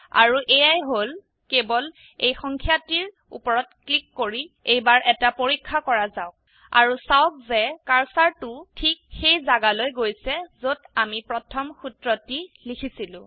আৰু এয়াই হল কেবল এই সংখ্যাটিৰ উপৰত ক্লিক কৰি এইবাৰ এটা পৰীক্ষা কৰা যাওক আৰু চাওক যে কাৰ্সাৰটো ঠিক সেই জাগালৈ গৈছে যত আমি প্ৰথম সূত্ৰটি লিখিছিলো